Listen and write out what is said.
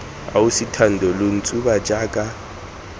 ausi thando lo ntshuba jaaka